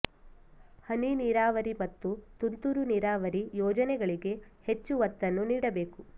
ಹನಿ ನೀರಾವರಿ ಮತ್ತು ತುಂತುರು ನೀರಾವರಿ ಯೋಜನೆಗಳಿಗೆ ಹೆಚ್ಚು ಒತ್ತನ್ನು ನೀಡಬೇಕು